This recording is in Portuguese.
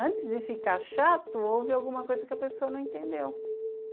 Antes de ficar chato, houve alguma coisa que a pessoa não entendeu.